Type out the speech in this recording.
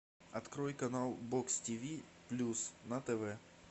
открой канал бокс тиви плюс на тв